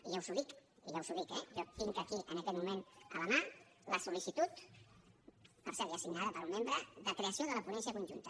i ja us ho dic i ja us ho dic eh jo tinc aquí en aquest moment a la mà la sol·licitud per cert ja signada per un membre de creació de la ponència conjunta